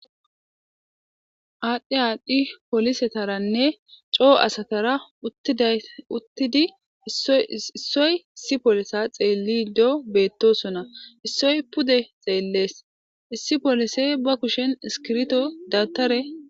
Adhdhi adhdhi pollosetarane coo asatara uttidi issoy issi pollise xellido bettosona issoy puude xelles issi polissey be kushshen iskirto dawutare.